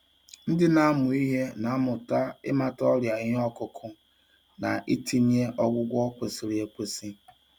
Ndị na-amụ ihe na-amụta ịmata ọrịa ihe ọkụkụ na itinye ọgwụgwọ kwesịrị ekwesị.